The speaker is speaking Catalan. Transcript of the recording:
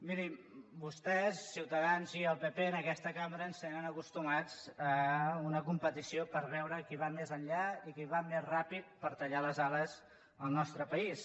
mirin vostès ciutadans i el pp en aquesta cambra ens tenen acostumats a una competició per veure qui va més enllà i qui va més ràpid per tallar les ales al nostre país